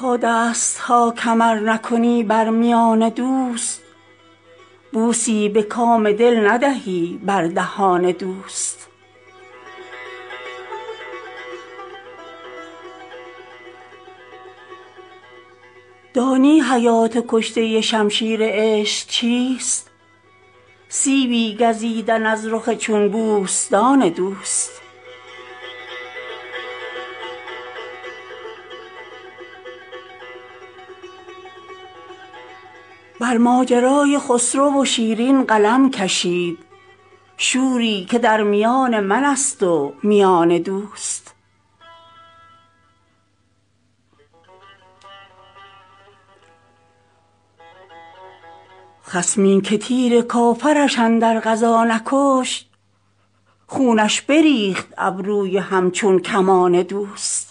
تا دست ها کمر نکنی بر میان دوست بوسی به کام دل ندهی بر دهان دوست دانی حیات کشته شمشیر عشق چیست سیبی گزیدن از رخ چون بوستان دوست بر ماجرای خسرو و شیرین قلم کشید شوری که در میان من است و میان دوست خصمی که تیر کافرش اندر غزا نکشت خونش بریخت ابروی همچون کمان دوست